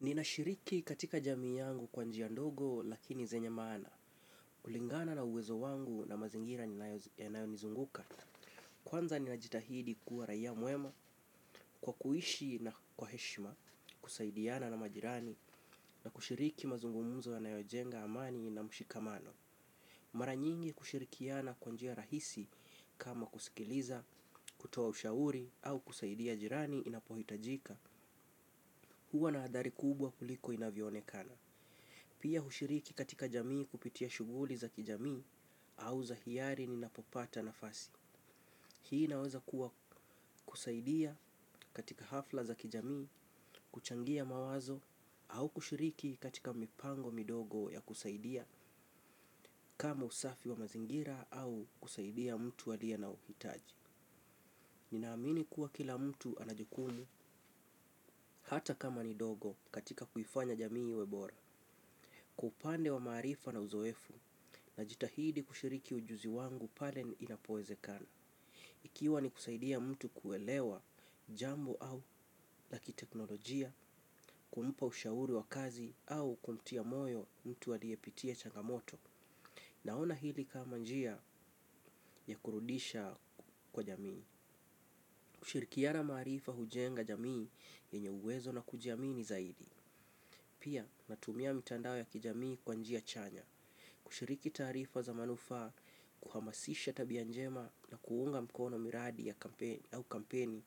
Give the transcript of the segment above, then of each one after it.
Ninashiriki katika jamii yangu kwa njia ndogo lakini zenya maana. Kulingana na uwezo wangu na mazingira yanayonizunguka. Kwanza niinajitahidi kuwa raia mwema kwa kuishi na kwa heshima kusaidiana na majirani na kushiriki mazungumzo yanayojenga amani na mshikamano. Mara nyingi kushirikiana kwa njia rahisi kama kusikiliza, kutoa ushauri au kusaidia jirani inapohitajika huwa na adhari kubwa kuliko inavyoonekana. Pia hushiriki katika jamii kupitia shughuli za kijamii au za hiari ninapopata nafasi. Hii inaweza kuwa kusaidia katika hafla za kijamii, kuchangia mawazo au kushiriki katika mipango midogo ya kusaidia kama usafi wa mazingira au kusaidia mtu aliye na uhitaji. Ninaamini kuwa kila mtu ana jukumu hata kama ni ndogo katika kuifanya jamii iwe bora. Kwa uoande wa maarifa na uzoefu najitahidi kushiriki ujuzi wangu pale ni inapoezekana. Ikiwa ni kusaidia mtu kuelewa jambo au lakiteknolojia, kumpa ushauri wa kazi au kumtia moyo mtu aliyepitia changamoto naona hili kama njia ya kurudisha kwa jamii. Kushirikiana maarifa hujenga jamii yenye uwezo na kujiamini zaidi. Pia natumia mitandao ya kijamii kwa njia chanya. Kushiriki taarifa za manufaa, kuhamasisha tabia njema na kuunga mkono miradi ya kampeni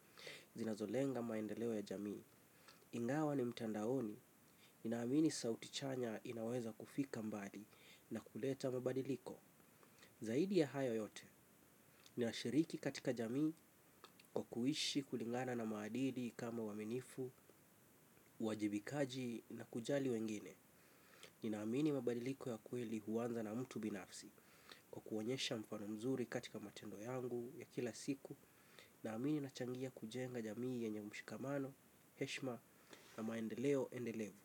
zinazolenga maendeleo ya jamii. Ingawa ni mtandaoni, ninaamini sauti chanya inaweza kufika mbali na kuleta mabadiliko. Zaidi ya hayo yote, ninashiriki katika jamii kwa kuishi kulingana na maadili kama uaminifu, uwajibikaji na kujali wengine. Ninaamini mabadiliko ya kweli huanza na mtu binafsi. Kwa kuonyesha mfano mzuri katika matendo yangu ya kila siku naamini nachangia kujenga jamii yenye mshikamano, heshima na maendeleo endelevu.